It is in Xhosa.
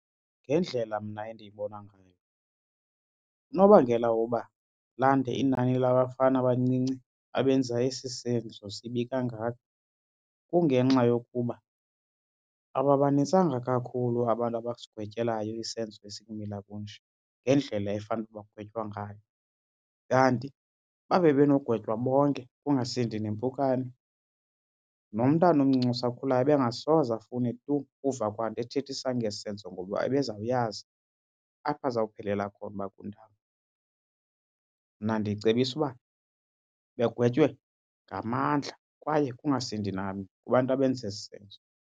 Ngendlela mna endiyibona ngayo unobangela woba lande inani labafana abancinci abenza esi senzo sibi kangaka kungenxa yokuba ababanintsanga kakhulu abantu abasigwetyelwayo isenzo esibumila kunje ngendlela efanele uba bagwetywa ngayo. Kanti uba bebenogwentywa bonke kungasindi nempukane nomntana omncinci osakhulayo ebengasoze afune tu ukuva kwa nto ethethisa ngesi senzo ngoba ebezawuyazi apho azawuphelela khona uba kundawoni. Mna ndicebisa uba begwetywe ngamandla kwaye kungasindi namnye kubantu abenza esi senzo.